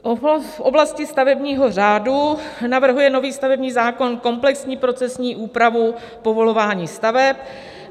V oblasti stavebního řádu navrhuje nový stavební zákon komplexní procesní úpravu povolování staveb.